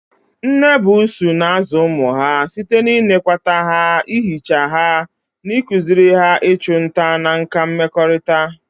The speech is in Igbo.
Nne buusu na-azụ ụmụ ha site n'ịnekwata ha, ihicha ha, na ịkụziri ha ịchụ nta na nkà mmekọrịta.